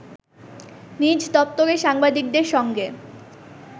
নিজ দপ্তরে সাংবাদিকদের সঙ্গে